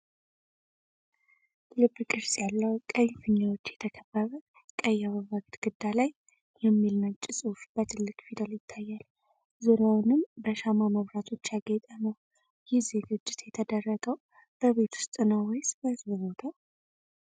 ልብ ቅርጽ ያላቸው ቀይ ፊኛዎች የተከበበ፣ ቀይ አበባ ግድግዳ ላይ "WILL YOU MARRY ME?" የሚል ነጭ ጽሑፍ በትልቅ ፊደል ይታያል፣ ዙሪያውንም በሻማ መብራቶች ያጌጠ ነው። ይህ ዝግጅት የተደረገው በቤት ውስጥ ነው ወይስ በሕዝብ ቦታ?